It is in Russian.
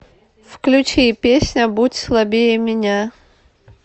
включи песня будь слабее меня